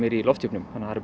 í lofthjúpnum það eru